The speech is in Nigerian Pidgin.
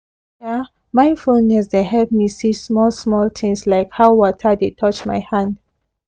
um mindfulness dey help me see small small things like how water dey touch my hand